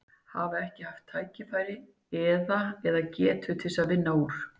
Hafa ekki haft tækifæri eða, eða getu til að vinna úr?